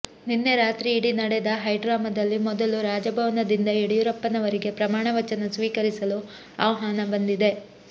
ನಿನ್ನೆ ರಾತ್ರಿಯಿಡಿ ನಡೆದ ಹೈಡ್ರಾಮದಲ್ಲಿ ಮೊದಲು ರಾಜಭವನದಿಂದ ಯಡಿಯೂರಪ್ಪನವರಿಗೆ ಪ್ರಮಾಣವಚನ ಸ್ವೀಕರಿಸಲು ಆಹ್ವಾನ ಬಂದಿದೆ